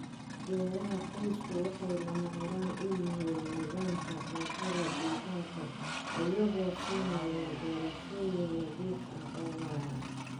Beeraha qoysku waxay lama huraan u yihiin nidaamka cuntada deegaanka, iyagoo siinaya doorashooyin nadiif ah oo waara.